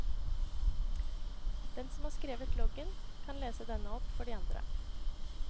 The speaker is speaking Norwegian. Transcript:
Den som har skrevet loggen, kan lese denne opp for de andre.